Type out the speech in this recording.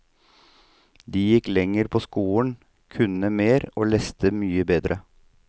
De gikk lenger på skolen, kunne mer og leste mye bedre.